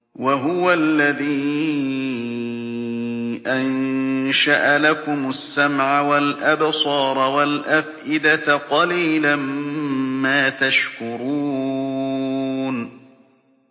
وَهُوَ الَّذِي أَنشَأَ لَكُمُ السَّمْعَ وَالْأَبْصَارَ وَالْأَفْئِدَةَ ۚ قَلِيلًا مَّا تَشْكُرُونَ